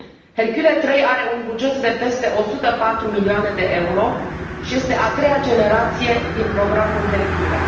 Hercule III are un buget de peste 104 milioane de euro și este a treia generație din programul Hercule.